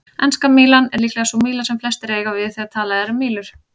Enska mílan er líklega sú míla sem flestir eiga við þegar talað er um mílur.